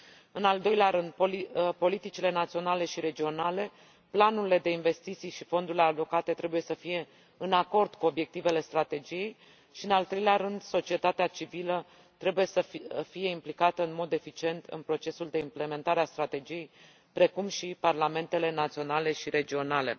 În al doilea rând, politicile naționale și regionale, planurile de investiții și fondurile alocate trebuie să fie în acord cu obiectivele strategiei și, în al treilea rând, societatea civilă trebuie să fie implicată în mod eficient în procesul de implementare a strategiei, precum și parlamentele naționale și regionale.